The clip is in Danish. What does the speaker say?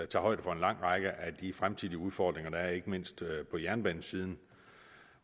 tager højde for en lang række af de fremtidige udfordringer der er ikke mindst på jernbanesiden